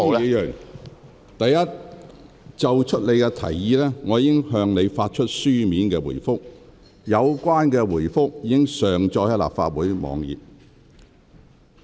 許智峯議員，就你提出的事宜，我已向你發出書面回覆。有關回覆已上載立法會網站。